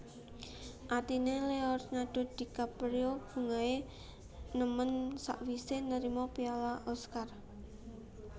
Atine Leonardo DiCaprio bungahe nemen sakwise nerima piala Oscar